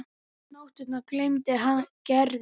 Um nóttina dreymdi hann Gerði.